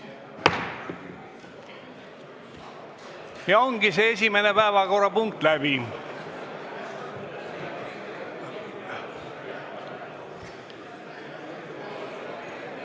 Ja ongi esimene päevakorrapunkt läbi.